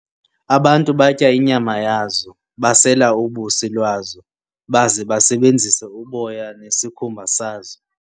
Abantu batya inyama yazo, basela ubusi lwazo, baze basebenzise uboya nesikhumba sazo.